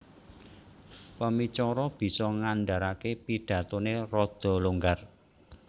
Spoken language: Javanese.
Pemicara Bisa ngandharaké pidhatoné radha longgar